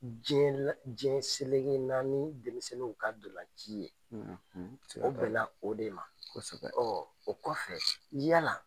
Diɲɛ selege naani denmisɛnninw ka ndolanci ye, o bɛn na o de ma. Ɔn o kɔfɛ yala